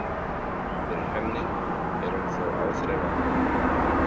Fyrir henni er hún þó áþreifanleg.